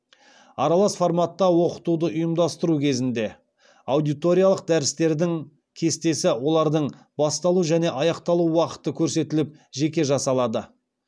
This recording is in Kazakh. аралас форматта оқытуды ұйымдастыру кезінде аудиториялық дәрістердің кестесі олардың басталу және аяқталу уақыты көрсетіліп жеке жасалады